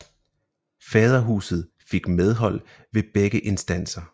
Faderhuset fik medhold ved begge instanser